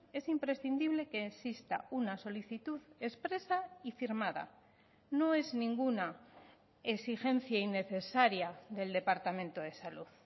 es imprescindible que exista una solicitud expresa y firmada no es ninguna exigencia innecesaria del departamento de salud